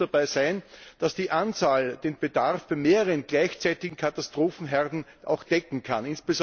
Sicher muss dabei sein, dass die Anzahl den Bedarf bei mehreren gleichzeitigen Katastrophenherden auch decken kann.